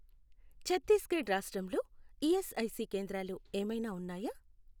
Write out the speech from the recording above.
ఛత్తీస్ గఢ్ రాష్ట్రంలో ఈఎస్ఐసి కేంద్రాలు ఏమైనా ఉన్నాయా?